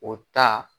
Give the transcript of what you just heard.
O ta